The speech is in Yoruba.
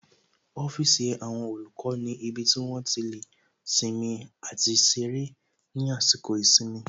Ọ́fíìsì àwọn olùkọ́ ni ibi tí wón ti lè sinmi àti ṣeré ní àsìkò ìsinmi